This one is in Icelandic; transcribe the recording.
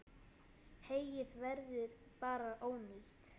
Heyið verður bara ónýtt.